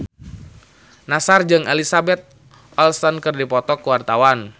Nassar jeung Elizabeth Olsen keur dipoto ku wartawan